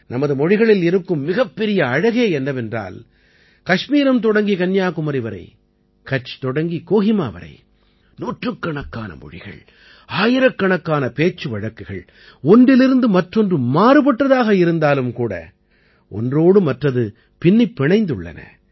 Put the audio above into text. நமது மொழிகளில் இருக்கும் மிகப்பெரிய அழகே என்னவென்றால் கஷ்மீரம் தொடங்கி கன்னியாகுமாரி வரை கட்ச் தொடங்கி கோஹிமா வரை நூற்றுக்கணக்கான மொழிகள் ஆயிரக்கணக்கான பேச்சு வழக்குகள் ஒன்றிலிருந்து மற்றொன்று மாறுபட்டதாக இருந்தாலும் கூட ஒன்றோடு மற்றது பின்னிப் பிணைந்துள்ளன